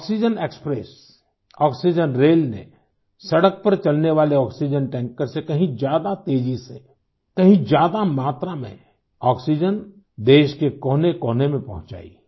oxygen express oxygen rail ने सड़क पर चलने वाले आक्सीजेन टैंकर से कहीं ज्यादा तेज़ी से कहीं ज्यादा मात्रा में आक्सीजेन देश के कोनेकोने में पहुंचाई है